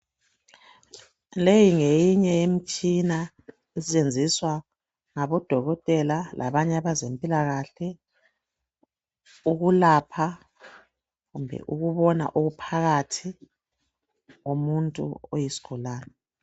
Leyi ngeyinye yemitshina esetshenziswa ngabodokotela labanye abazempilakahle ukwelapha kumbe ukubona okuphakathi komuntu kwesigulane.